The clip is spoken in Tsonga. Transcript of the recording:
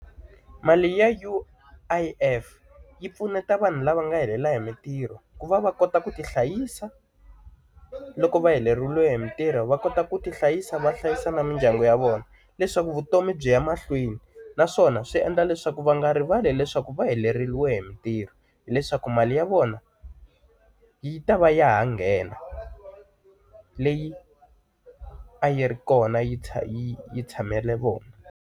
Mali ya U_I_F yi pfuneta vanhu lava nga helela hi mintirho ku va va kota ku ti hlayisa loko va heleriwile hi mintirho va kota ku ti hlayisa va hlayisa na mindyangu ya vona. Leswaku vutomi byi ya mahlweni naswona swi endla leswaku va nga rivali leswaku va heleriwile hi mintirho hileswaku mali ya vona, yi ta va ya ha nghena leyi a yi ri kona yi yi tshamele vona.